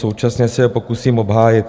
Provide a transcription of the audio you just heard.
Současně se je pokusím obhájit.